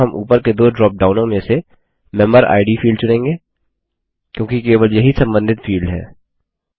यहाँ हम ऊपर के दो ड्रॉपडाउनों में से मेम्बेरिड फील्ड चुनेंगे क्योंकि केवल यही सम्बन्धित फील्ड है